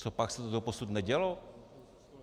Copak se to doposud nedělo?